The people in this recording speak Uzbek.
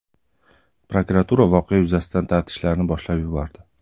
Prokuratura voqea yuzasidan taftishlarni boshlab yubordi.